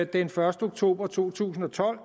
den første oktober to tusind og tolv